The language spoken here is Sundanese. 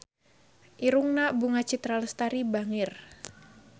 Irungna Bunga Citra Lestari bangir